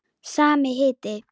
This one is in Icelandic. Sami hiti.